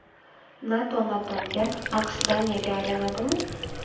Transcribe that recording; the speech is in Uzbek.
NATO NATOME’ga, AQSh Daniyaga aylanadimi?